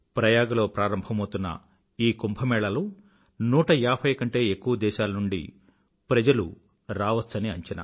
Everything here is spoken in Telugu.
ప్రయాగలో ప్రారంభమౌతున్న ఈ కుంభ మేళాలో నూట ఏభై కంటే ఎక్కువ దేశాల నుండి ప్రజలు రావచ్చని అంచనా